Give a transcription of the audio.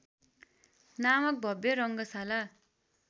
नामक भव्य रङ्गशाला